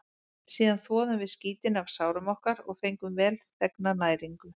Síðan þvoðum við skítinn af sárum okkar og fengum velþegna næringu.